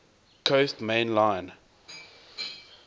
coast main line